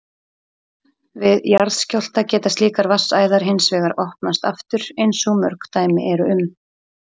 Við jarðskjálfta geta slíkar vatnsæðar hins vegar opnast aftur eins og mörg dæmi eru um.